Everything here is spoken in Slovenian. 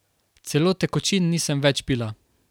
Celo tekočin nisem več pila.